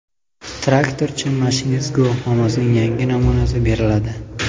Traktorchi-mashinist guvohnomasining yangi namunasi beriladi.